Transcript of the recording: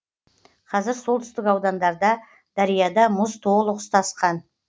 қазір солтүстік аудандарда дарияда мұз толық ұстасқан